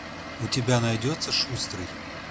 у тебя найдется шустрый